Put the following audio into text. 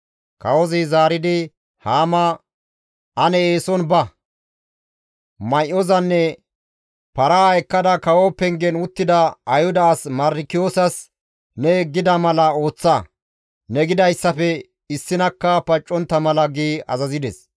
Kawozi zaaridi Haama, «Ane eeson ba! May7ozanne paraa ekkada kawo pengen uttida Ayhuda as Mardikiyoosas ne gida mala ooththa; ne gidayssafe issinakka paccontta mala» gi azazides.